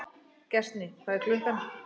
Gestný, hvað er klukkan?